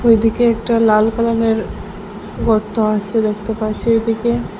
ওদিকে একটা লাল কালারের গর্ত আসে দেখতে পাচ্ছি এদিকে--